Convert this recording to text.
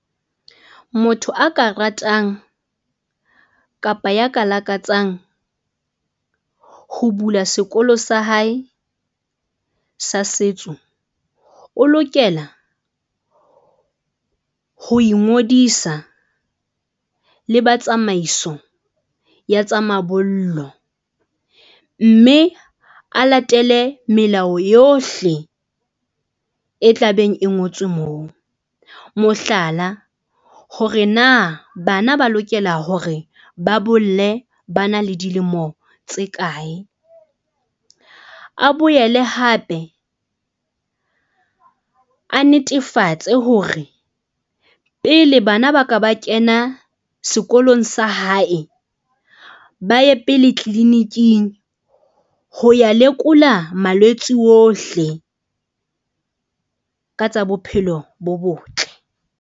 Motho a ka ratang kapa ya ka lakatsang ho bula sekolo sa hae sa setso, o lokela ho ingodisa le ba tsamaiso ya tsa mabollo. Mme a latele melao yohle e tlabeng e ngotswe moo, mohlala, hore na bana ba lokela hore ba bolle ba na le dilemo tse kae, a boele hape a netefatse hore pele bana ba ka ba kena sekolong sa hae, ba ye pele clinic-ing ho ya lekola malwetsi ohle ka tsa bophelo bo botle.